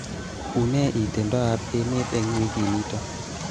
Unee itondoab emet eng wikinito